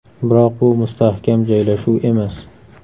Biroq bu mustahkam joylashuv emas.